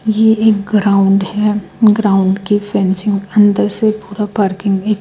ये एक ग्राउंड है ग्राउंड के फेंसिंग अंदर से पूरा पार्किंग --